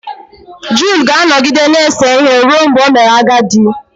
Jud ga-anọgide na-ese ihe ruo mgbe o mere agadi